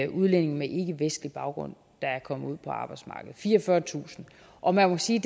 udlændinge med ikkevestlig baggrund der er kommet ud på arbejdsmarkedet fireogfyrretusind og man må sige